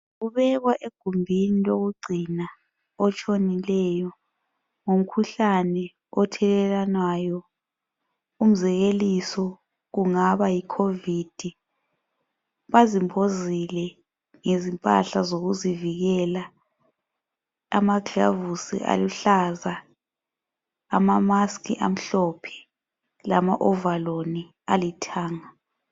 Kubekwa egumbini lokugcina otshonileyo ngomkhuhlane othelelanwayo umzekeliso kungaba yiCovid. Bazimbozile ngezimpahla zokuzivikela amagilovisi aluhlaza, amamask amhlophe lamawovolosi alithanga.